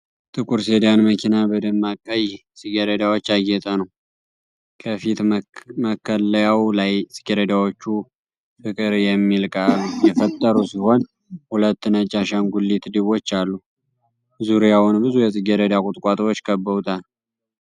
ጥቁር ሴዳን መኪና በደማቅ ቀይ ጽጌረዳዎች ያጌጠ ነው። ከፊት መከለያው ላይ ጽጌረዳዎቹ "ፍቅር" የሚል ቃል የፈጠሩ ሲሆን፣ ሁለት ነጭ የአሻንጉሊት ድቦች አሉ። ዙሪያውን ብዙ የጽጌረዳ ቁጥቋጦዎች ከበውታል።